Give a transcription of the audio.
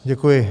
Děkuji.